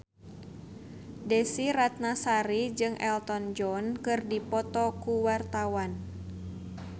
Desy Ratnasari jeung Elton John keur dipoto ku wartawan